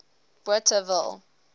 bothaville